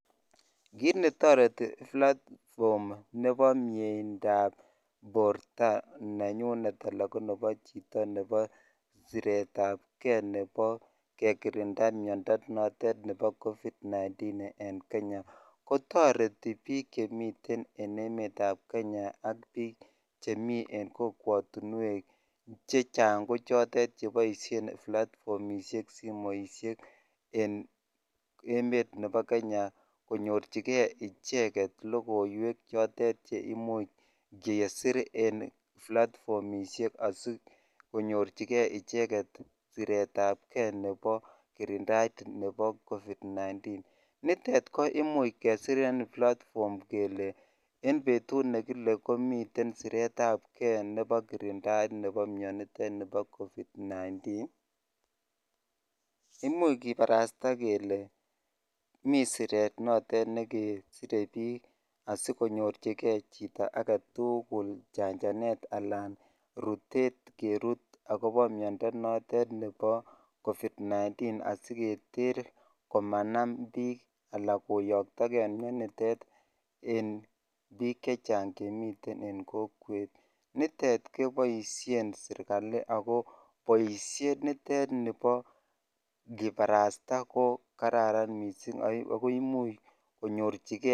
Kiit netaritee platform nepo portaa nenyyun anan konepo chitoo nepo sireet ap kee nepo kirindap keee nepo miandap covid 19eng kenyaa kotaritii piik chemiteen eng emet ap kenyaa kochotok imuch konyorchigeii ichegei sireet ap kee nepo kirindaap miandaap covid 19 imuuch kiparastaa kelee magaat kerut chitugul asiketer manam piik chechaang eng kokweet poisheet nitok nepo kiparasta kokararan amun imuchii konyorchigeii chito